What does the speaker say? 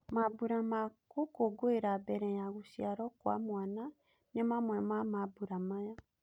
Mambũra ma gũkũngũira mbere ya gũciarwo kwa mwana ni mamwe ma mambũra maya.